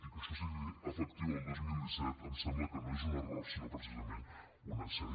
i que això sigui efectiu el dos mil disset em sembla que no és un error sinó precisament un encert